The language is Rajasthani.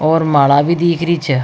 और माला भी दीख रही छ।